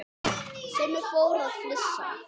Simmi fór að flissa.